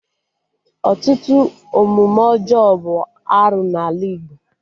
Ọtụtụ omume ọjọọ bụ arụ n'ala Igbo